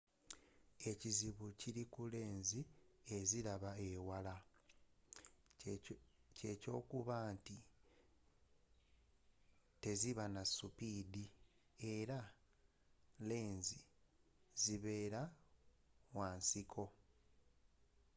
ekizibu ekiri ku lenzi eziraba ewala kye kyokuba nti teziba na supidi era lenzi zibeera wa nsiko